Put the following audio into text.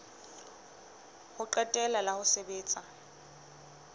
ho qetela la ho sebetsa